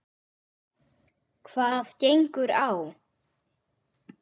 Hvað gengur á!